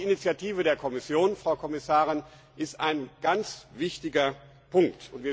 Auch die Initiative der Kommission, Frau Kommissarin, ist ein ganz wichtiger Punkt.